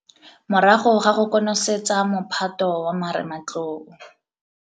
Morago ga go konosetsa mophato wa marematlou